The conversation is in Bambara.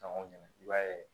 Dɔn i b'a ye